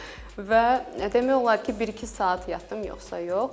Və demək olar ki, bir-iki saat yatdım yoxsa yox.